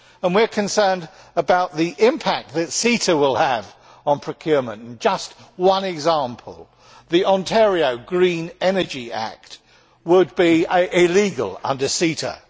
We are concerned about the impact that CETA will have on procurement. To give just one example, the Ontario Green Energy Act would be illegal under CETA.